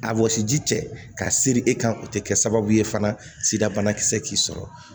A wɔsi ji cɛ ka siri e kan o tɛ kɛ sababu ye fana sida banakisɛ t'i sɔrɔ